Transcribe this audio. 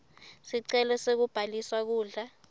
sicelo sekubhaliswa kudla